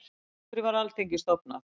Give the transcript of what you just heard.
af hverju var alþingi stofnað